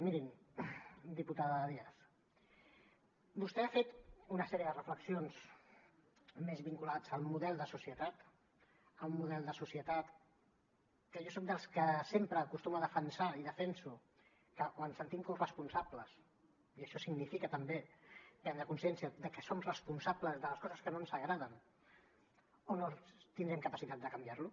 miri diputada díaz vostè ha fet una sèrie de reflexions més vinculades al model de societat a un model de societat que jo soc dels que sempre acostuma a defensar i defenso que o ens en sentim corresponsables i això significa també prendre consciència de que som responsables de les coses que no ens agraden o no tindrem capacitat de canviar lo